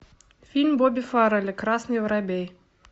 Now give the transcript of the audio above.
фильм бобби фаррелли красный воробей